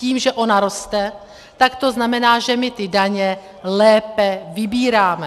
Tím, že ona roste, tak to znamená, že my ty daně lépe vybíráme.